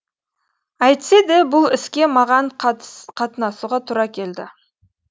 әйтсе де бұл іске маған қатынасуға тура келді